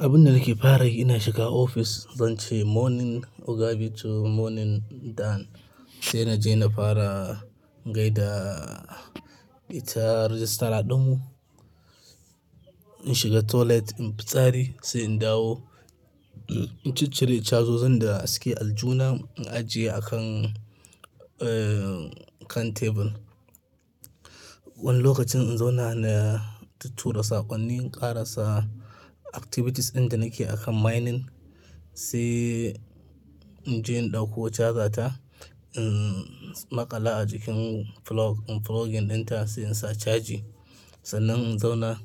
Abun da nake fara yi ina shiga ofis, zan ce morning Ogabi to morning Dan. Sai na je na fara gaida ita rajistara ɗunmu. In shiga toilet in fitsari sai in dawo, in ci cire chazozin da suke aljihuna in ajiye a kan, eh, kan tebur. Wani lokacin in zauna na tuttu ra saƙonni in ƙarasa activities ɗin da nake akan mining sai in je in ɗauko charger ta, umm, maƙala a cikin plug, plug in ɗin ta sai in sa caji. Sannan in zauna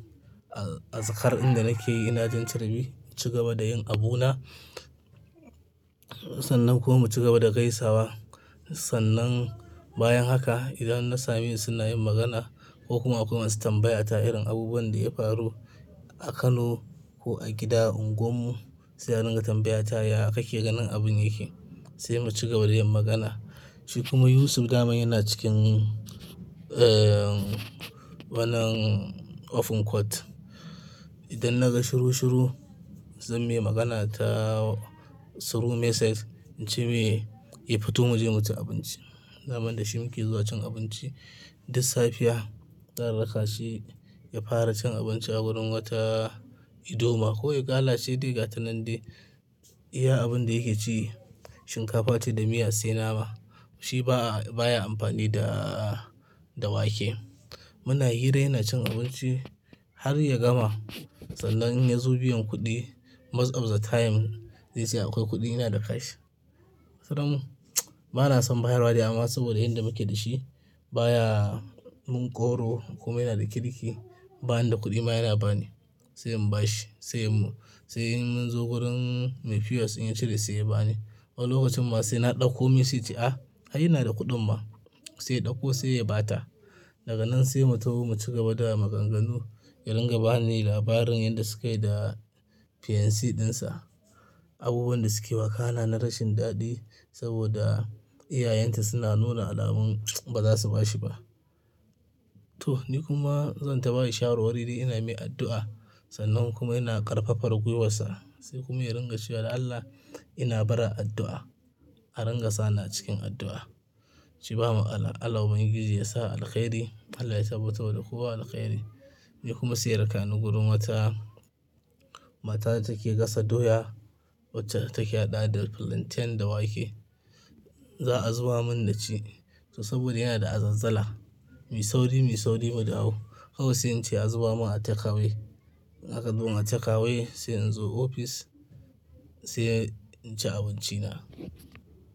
a, a tsakar in da nake yi ina jan carbi, ci gaba da yin abuna. Sannan kuma ci gaba da gaisawa. Sannan bayan haka idan na samesu suna yin magana ko kuma akwai masu tambaya ta irin abubuwan da ya faru a Kano ko a gida unguwar mu sai a ringa tambaya ta, ya kake ganin abun yake? Sai mu ci gaba da yin magana. Shi kuma Yusuf damain yana cikin, eh, wannan open court. Idan naga shiru shiru zan me magana ta through message in ce mai, "Yi fito mu je mu ci abinci." daman da shi muke zuwa cin abinci duk safiya. Zan rakashi ya fara cin abinci a wurin wata idoma ko igala ce de ga gata nan dai. Iya abun da yake ci shinkafa ce da miya sai nama. Shi ba, baya amfani da, da wake. Muna hira yana cin abinci har ya gama sannan ya zo biyan kuɗi most of the time zai ce akwai kuɗi yana da cash. Kodam bana son bayarwa dai amma saboda inda muke da shi baya mun ƙoro ko kuma yana da kirki. Bani da kuɗi ma yana bani sai in bashi. Sai mu, sai in munzo wurin Me POS in ya cire sai ya bani. Wani lokacin ma sai na ɗauko me sai yace, "Ah, ai yana da kuɗin ma." Saiya ɗauko sai ya bata. Daga nan sai mu taho mu ci gaba da maganganu. Ya ringa bani labarin yadda sukayi da fiance ɗinsa. Abubuwan da suke wakana na rashin daɗi saboda iyayenta suna nuna alamun ba za su bashi ba. Toh, ni kuma zan taɓa yi shawar wari ina mai addu'a. Sannan kuma ina ƙarfafar gwiwarsa sai kuma ya ringa cewa da Allah ina barar addu'a. A ringa sa ni acikin addu'a. Ince bamatsalah, Allah ubangiji yasa alkhairi Allah ya tabbatarwa da kowa alkhairi. Ni kuma sai yaraka ni gurun wata, mata da take gasa doya wacce take haɗa da plantain da wake. Za a zuba mun na ci. To saboda yana da azazala, me sauri me sauri mudawo. Kawai sai in ce a zuba mun a takeway. In aka zuban a takeaway sai in zo ofis sai in ci abinci na.